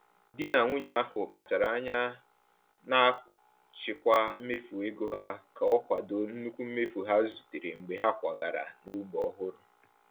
Di na nwunye ahụ kpachara anya na-achịkwa mmefu ego ha ka o kwado nnukwu mmefu ha zutere mgbe ha kwagara n’ógbè ọhụrụ.